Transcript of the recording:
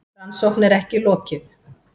Rannsókn er ekki lokið.